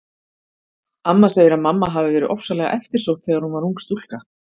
Amma segir að mamma hafi verið ofsalega eftirsótt þegar hún var ung stúlka.